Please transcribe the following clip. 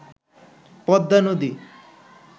পদ্মা নদী